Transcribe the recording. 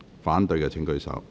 反對的請舉手。